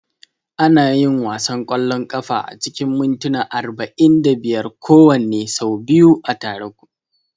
Ana yin wasan ƙwallon kafa acikin mintuna arba'in da biyar kowanne, sau biyu a tare.